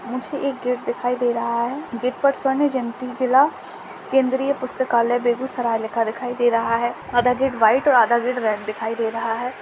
मुझे एक गेट दिखाई दे रहा है। गेट पर स्वर्ण जयंती जिला केन्द्रीय पुस्तकालय बेगुसराय लिखा दिखाई दे रहा है। आधा गेट वाइट और आधा गेट रेड दिखाई दे रहा है।